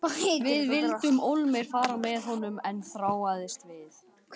Við vildum ólmir fara með honum en hann þráaðist við.